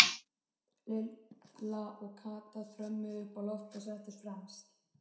Lilla og Kata þrömmuðu upp á loft og settust fremst.